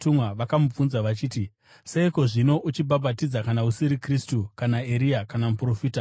vakamubvunza vachiti, “Seiko zvino uchibhabhatidza kana usiri Kristu, kana Eria kana Muprofita?”